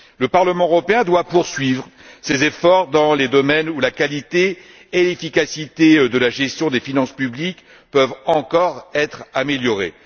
Le Parlement européen doit poursuivre ses efforts dans les domaines où la qualité et l'efficacité de la gestion des finances publiques peuvent encore être améliorées.